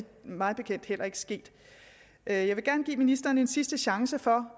mig bekendt heller ikke sket jeg vil gerne give ministeren en sidste chance for